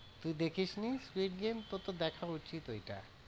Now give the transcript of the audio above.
তুই দেখিসনি squid game তোর তো দেখা উচিত ওইটা